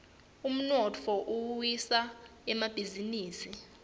umnotfo uwisa emabhisinisi